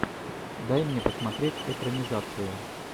дай мне посмотреть экранизацию